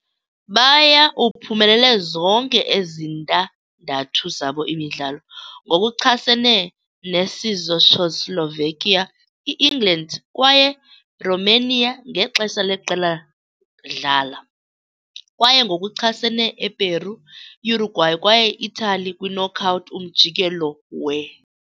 Baya uphumelele zonke ezintandathu zabo imidlalo - ngokuchasene neCzechoslovakia, England kwaye Romania ngexesha leqela dlala, kwaye ngokuchasene Eperu, Uruguay kwaye Italy kwi-knockout umjikelo we.